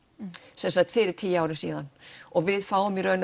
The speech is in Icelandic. sem sagt fyrir tíu árum síðan og við fáum í raun